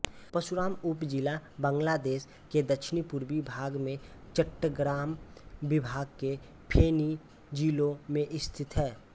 परशुराम उपजिला बांग्लादेश के दक्षिणपूर्वी भाग में चट्टग्राम विभाग के फेनी जिले में स्थित है